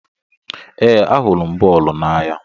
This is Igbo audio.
Ee, ahụrụ m bọọlụ n'anya.